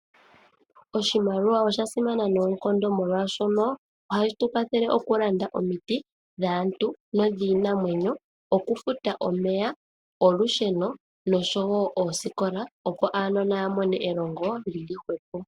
Oshimaliwa oshasimana noonkondo molwashono ohashi tukwathele okulanda omiti dhaantu niinamwenyo, okufuta omeya, olusheno nosho wo oosikola opo aanona yamone elongo ehwepo.